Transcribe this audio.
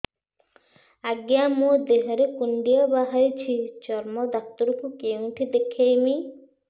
ଆଜ୍ଞା ମୋ ଦେହ ରେ କୁଣ୍ଡିଆ ବାହାରିଛି ଚର୍ମ ଡାକ୍ତର ଙ୍କୁ କେଉଁଠି ଦେଖେଇମି